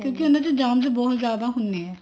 ਕਿਉਂਕਿ ਉਹਨਾ ਚ germs ਬਹੁਤ ਜਿਆਦਾ ਹੁੰਦੇ ਨੇ